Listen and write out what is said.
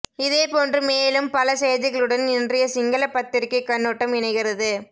இதேபோன்று மேலும் பல செய்திகளுடன் இன்றைய சிங்கள பத்திரிகை கண்ணோட்டம் இணைகிறது